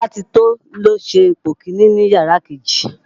Bọ́látitó ló ṣe ipò kiní ní yàrá kejì